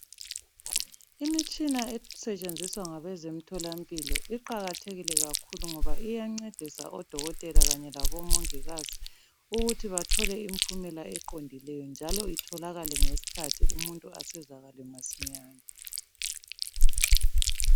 Imitshina esetshenziswa ngabezemtholampilo , iqakathekile kakhulu ngoba iyancedisa odokothela kanye labomongikazi ukuthi bathole imiphumela eqondileyo, njalo itholakale ngesikhathi umuntu asizakale masinyane.